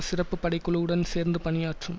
சிறப்பு படை குழுவுடன் சேர்ந்து பணியாற்றும்